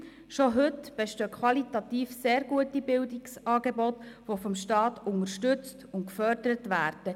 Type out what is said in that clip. Schon heute bestehen qualitativ sehr gute Bildungsangebote, die vom Staat unterstützt und gefördert werden.